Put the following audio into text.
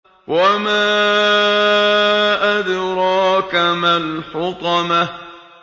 وَمَا أَدْرَاكَ مَا الْحُطَمَةُ